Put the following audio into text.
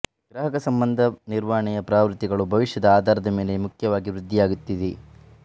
ಗ್ರಾಹಕ ಸಂಬಂಧ ನಿರ್ವಹಣೆಯ ಪ್ರವೃತ್ತಿಗಳು ಭವಿಷ್ಯದ ಆಧಾರದ ಮೇಲೆ ಮುಖ್ಯವಾಗಿ ವೃದ್ಧಿಯಾಗುತ್ತಿದೆ